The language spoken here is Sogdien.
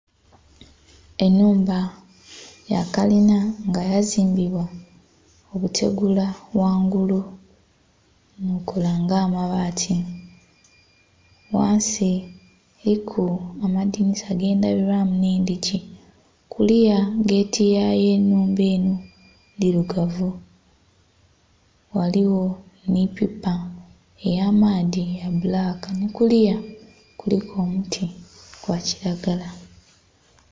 Enhumba ya kalinha nga yazimbibwa obutegula ghangulu nho bukola nga amabati, ghansi eriku amadhinisa gendhabilwamu nhe endhigii, kuliya geeti yayo enhumba enho ndhirugavu, ghaligho nhi pipa eya maadhi ya bbulaka nhi kuliya kuliku omuti gwa kilagala.